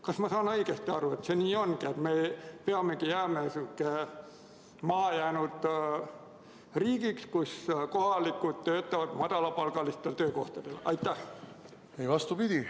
Kas ma saan õigesti aru, et see nii ongi, et me jäämegi selliseks mahajäänud riigiks, kus kohalikud töötavad madalapalgalistel töökohtadel?